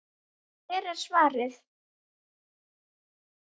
Hér er svarið.